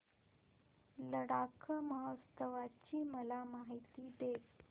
लडाख महोत्सवाची मला माहिती दे